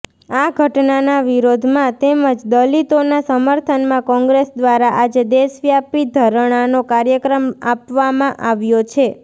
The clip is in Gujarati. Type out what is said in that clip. આ ઘટનાના વિરોધમાં તેમજ દલિતોના સમર્થનમાં કોંગ્રેસ દ્વારા આજે દેશવ્યાપી ધરણાનો કાર્યક્રમ આપવામાં આવ્યો છે